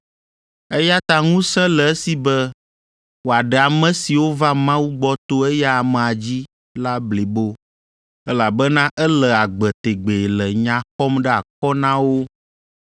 Eya ta ŋusẽ le esi be wòaɖe ame siwo va Mawu gbɔ to eya amea dzi la blibo, elabena ele agbe tegbee le nya xɔm ɖe akɔ na wo.